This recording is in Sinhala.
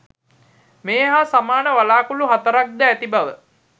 මේ හා සමාන වළාකුළු හතරක් ද ඇති බව